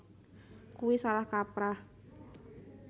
Kuwi salah kaprah